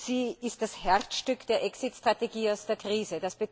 Sie ist das Herzstück der Exit Strategie aus der Krise.